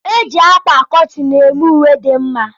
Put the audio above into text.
E ji akwa kọtin eme uwe dị mma.